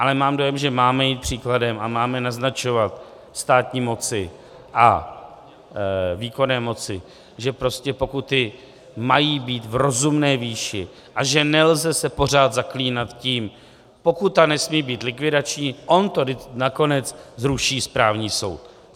Ale mám dojem, že máme jít příkladem a máme naznačovat státní moci a výkonné moci, že prostě pokuty mají být v rozumné výši a že se nelze pořád zaklínat tím: pokuta nesmí být likvidační, on to nakonec zruší správní soud.